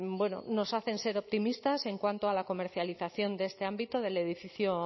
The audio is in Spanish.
nos hacen ser optimistas en cuanto a la comercialización de este ámbito del edificio